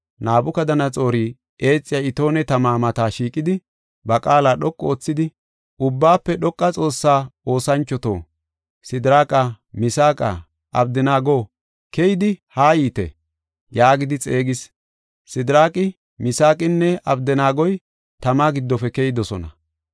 Nabukadanaxoori eexiya itoone tama mata shiiqidi, ba qaala dhoqu oothidi, “Ubbaafe Dhoqa Xoossaa oosanchoto, Sidiraaqa, Misaaqa, Abdanaago, keyidi haa yiite!” yaagidi xeegis. Sidiraaqi, Misaaqinne Abdanaagoy tama giddofe keyidosona.